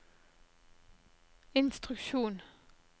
instruksjon